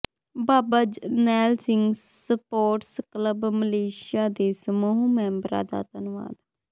ਬਾਬਾ Jarnail Singh sports club Malaysia ਦੇ ਸਮੂਹ ਮੈਂਬਰਾਂ ਦਾ ਧੰਨਵਾਦ